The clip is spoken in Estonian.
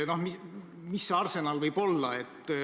Mis see arsenal võib olla?